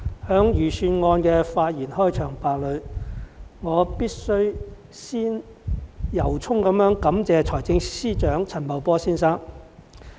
代理主席，我在財政預算案的開場發言中，必須先由衷感謝財政司司長陳茂波先生。